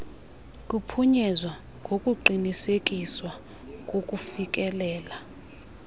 kuphunyezwa ngokuqinisekiswa kokufikelela